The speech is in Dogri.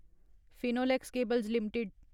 Finolex cables limited